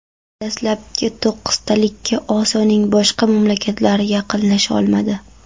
Dastlabki to‘qqiztalikka Osiyoning boshqa mamlakatlari yaqinlasha olmadi.